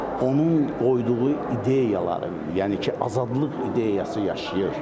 Onun qoyduğu ideyaları, yəni ki, azadlıq ideyası yaşayır.